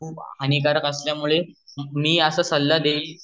हानिकारक असल्यामुळे मी असा सल्ला देईल